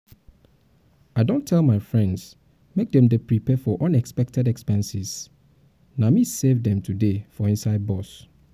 i don tell my um friends make dem dey prepared for um unexpected expense na me save dem today um for inside bus